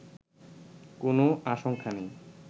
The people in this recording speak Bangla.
কোনও আশংকা নেই